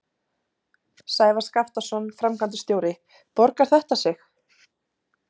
Sævar Skaptason, framkvæmdastjóri, borgar þetta sig?